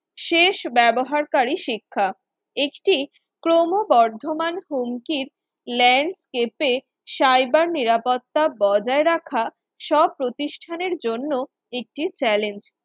শেষ ব্যবহারকারী শিক্ষা, একটি ক্রমবর্ধমান হুমকি landscape এ cyber নিরাপত্তা বজায় রাখা সব প্রতিষ্ঠানের জন্য একটি challenge